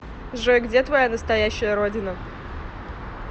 джой где твоя настоящая родина